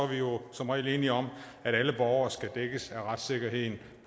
vi jo som regel enige om at alle borgere skal dækkes af retssikkerheden